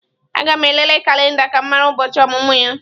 Aga m elele kalenda ka m mara ụbọchị ọmụmụ ya.